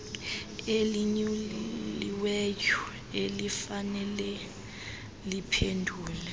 elinyuliweyo elifanele liphendule